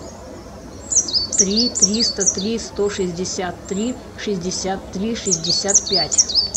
три триста три сто шестьдесят три шестьдесят три шестьдесят пять